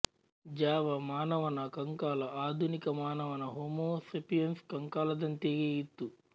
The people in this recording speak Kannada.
ಜಾವ ಮಾನವನ ಕಂಕಾಲ ಆಧುನಿಕ ಮಾನವನ ಹೋಮೋ ಸೇಪಿಯನ್ಸ್ ಕಂಕಾಲದಂತೆಯೇ ಇತ್ತು